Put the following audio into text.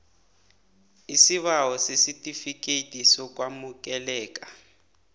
isibawo sesitifikethi sokwamukeleka